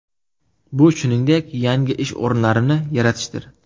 Bu shuningdek, yangi ish o‘rinlarini yaratishdir.